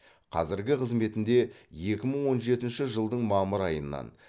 қазіргі қызметінде екі мың он жетінші жылдың мамыр айынан